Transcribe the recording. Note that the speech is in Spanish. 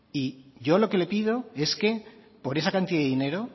y yo lo que le pido es que por esa cantidad de dinero